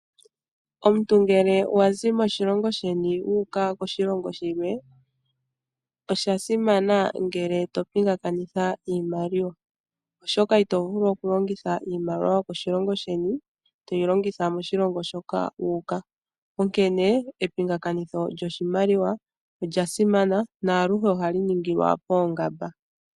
Omuntu ngele wazi moshilongo sheni wayi koshilongo shilwe, osha simana ngele to pingakanitha iimaliwa. Oshokanito vulu oku longitha iimaliwa yokoshilongo sheni toyi longitha moshilongo moka wu uka. Onkene epingakanitho lyoshimaliwa olya simana nohali ningilwa pooongamba.